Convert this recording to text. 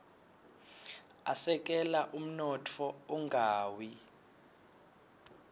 asekela umnotfo ungawi